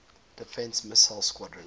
defense missile squadron